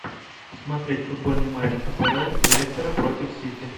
смотреть футбольный матч апл лестера против сити